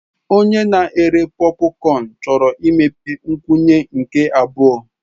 Onye na-ere pọpụcọn chọrọ imepe nkwụnye nke abụọ.